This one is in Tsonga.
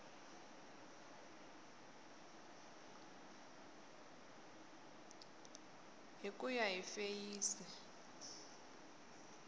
hi ku ya hi feyisi